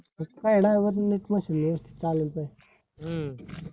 वरती नीट machine व्यवस्तीत चालेल काय?